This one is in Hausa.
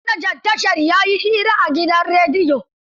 Jiya manajan tashar ya yi hira a gidan rediyo.